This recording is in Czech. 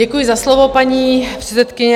Děkuji za slovo, paní předsedkyně.